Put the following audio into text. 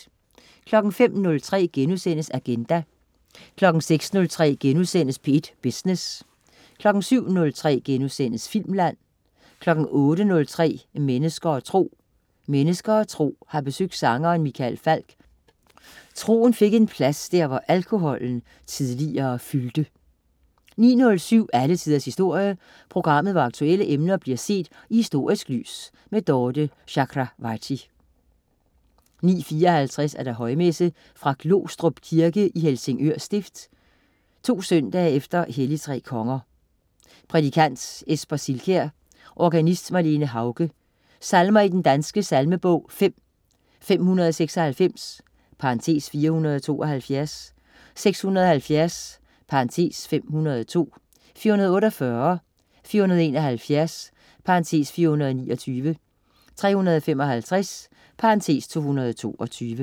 05.03 Agenda* 06.03 P1 Business* 07.03 Filmland* 08.03 Mennesker og Tro. Mennesker og Tro har besøgt sangeren Michael Falch. Troen fik en plads, der hvor alkoholen tidligere fyldte 09.07 Alle Tiders Historie. Programmet hvor aktuelle emner bliver set i historisk lys. Dorthe Chakravarty 09.54 Højmesse. Fra Glostrup Kirke (Helsingør stift) 2 søndag efter hellig tre konger. Prædikant: Esper Silkjær. Organist: Marlene Hauge. Salmer i Den Danske Salmebog: 5. 596 (472). 670 (502). 448. 471 (429). 355 (222)